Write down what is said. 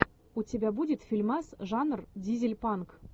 у тебя будет фильмас жанр дизель панк